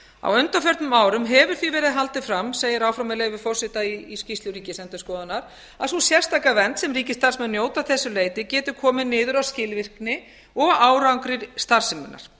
á undanförnum árum hefur því verið haldið fram segir áfram með leyfi forseta í skýrslu ríkisendurskoðunar að sú sérstaka vernd sem ríkisstarfsmenn njóta að þessu leyti getur komið niður á skilvirkni og árangri starfseminnar